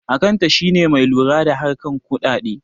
Akanta shine mai lura da harkan kudade